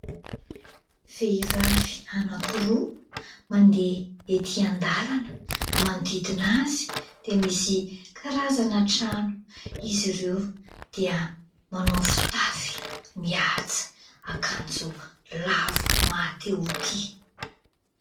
Vehivavy anakiroa mandeha etỳ an-dàlana, manodidina azy dia misy karazana trano, izy ireo dia manao fitafy mihaja, akanjo lava mahatehotia.